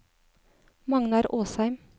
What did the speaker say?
Magnar Åsheim